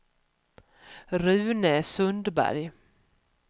Rune Sundberg